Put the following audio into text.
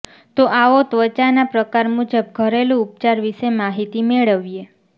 તો આવો ત્વચાના પ્રકાર મુજબ ઘરેલુ ઉપચાર વિશે માહિતી મેળવીએ